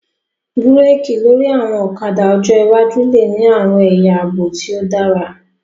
Búrékì lórí àwọn ọ̀kadà ọjọ́ iwájú lè ní àwọn ẹ̀yà àbò tí ó dára